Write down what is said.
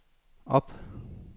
op